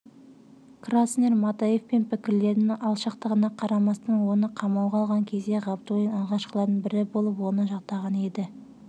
краснер матаевпен пікірлерінің алшақтығына қарамастан оны қамауға алған кезде ғабдуллин алғашқылардың бірі болып оны жақтаған еді